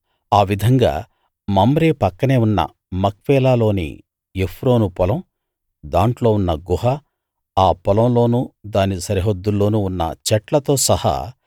ఆ విధంగా మమ్రే పక్కనే ఉన్న మక్పేలా లోని ఎఫ్రోను పొలం దాంట్లో ఉన్న గుహ ఆ పొలంలోనూ దాని సరిహద్దుల్లోనూ ఉన్న చెట్లతో సహా